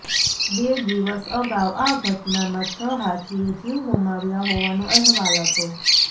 બે દિવસ અગાઉ આ ઘટનામાં છ હાથીએ જીવ ગુમાવ્યા હોવાનો અહેવાલ હતો